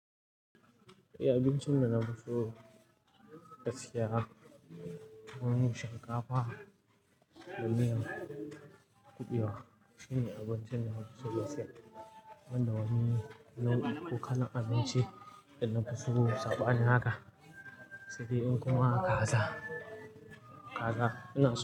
Eh abincin da na fi so gaskiya tuwon shinkafa da miyar kubewa shine abincin da na fi so da safe. Banda wani nau'in ko kala abinci da na fi so saɓani haka, saidai inkuma kaza, kaza ina so.